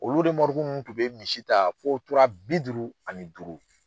Olu ninnu tun bɛ misi ta fo tora bi duuru ani duuru.